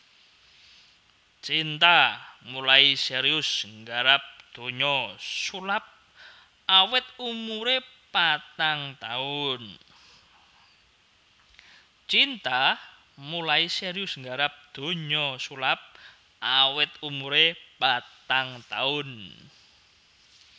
Cinta mulai serius nggarap donya sulap awit umuré patang taun